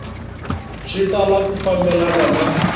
swi tala ku fambelena na